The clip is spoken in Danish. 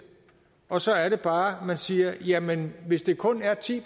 og så er det bare vi siger jamen hvis det kun er ti